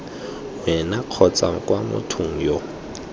wena kgotsa kwa mothong yo